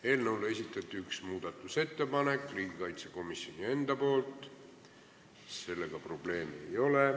Eelnõu kohta esitas ühe muudatusettepaneku riigikaitsekomisjon ise ja sellega probleemi ei ole.